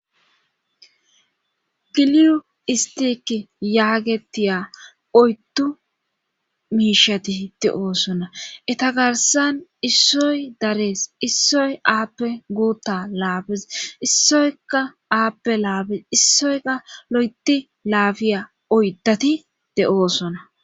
giliyu istiki yaagetiya oyttu miishati hide7oosona eta garsan issoy darees issoy aappe guutta laabes issoyka aappe laabes issoyka lo7eti laafiya oydati de7oosona.